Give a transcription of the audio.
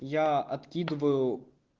я откидываю